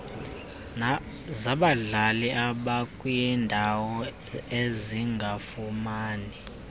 zabadlali abakwindawo ezingafumani